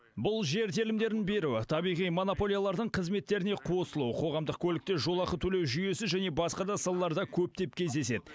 бұл жер телімдерін беру табиғи монополиялардың қызметтеріне қосылу қоғамдық көлікте жолақы төлеу жүйесі және басқа да салаларда көптеп кездеседі